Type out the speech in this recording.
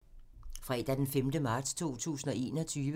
Fredag d. 5. marts 2021